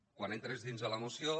quan entres dins de la moció